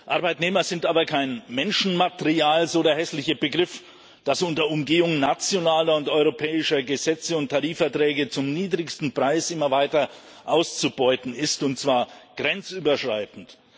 Arbeitnehmer sind aber kein Menschenmaterial so der hässliche Begriff das unter Umgehung nationaler und europäischer Gesetze und Tarifverträge zum niedrigsten Preis immer weiter auszubeuten ist, und zwar grenzüberschreitend.